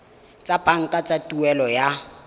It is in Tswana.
tsa banka tsa tuelo ya